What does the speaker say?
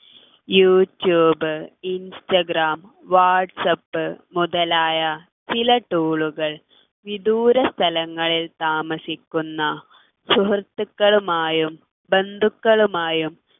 YouTube Instagram WhatsApp മുതലായ ചില tool കൾ വിദൂര സ്ഥലങ്ങളിൽ താമസിക്കുന്ന സുഹൃത്തുക്കളുമായും ബന്ധുക്കളുമായും